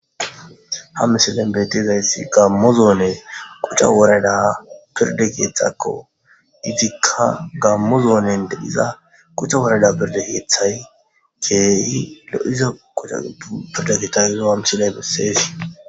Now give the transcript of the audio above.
Ha missilen betizaysi gamo zonen quc'a woradan pirda kethako etika gamo zonen diza quc'a worada pirda kethay kehi lo'iza quc'a worada missile beses.